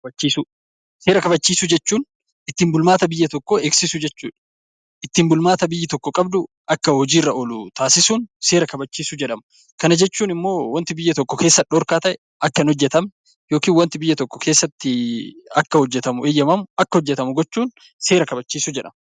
Seera kabachiisuu. Seera kabachiisuu jechuun ittiin bulmaata biyya tokkoo eegsisuu jechuudha. Ittiin bulmaata biyyi tokko qabdu akka hojii irra oolu taasisuun seera kabachiisuu jedhama. Jechuun immoo waanti biyya tokko keessatti dhorkaa ta'e akka hin hojjetamne waanti biyya tokko keessatti akka hojjetamu eeyyamamu gochuun seera kabachiisuu jedhama.